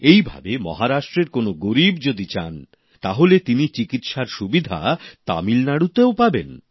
এইভাবে মহারাষ্ট্রের কোন গরীব যদি চান তাহলে তিনি চিকিৎসার সুবিধা তামিলনাড়ুতে ও পাবেন